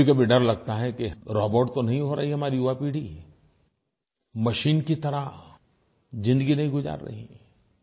कभीकभी डर लगता है कि रोबोट तो नहीं हो रही हमारी युवापीढ़ी मशीन की तरह तो ज़िंदगी नहीं गुज़ार रही